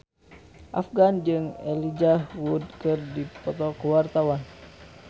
Afgan jeung Elijah Wood keur dipoto ku wartawan